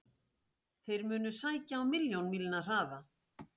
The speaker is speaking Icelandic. Þeir munu sækja á milljón mílna hraða.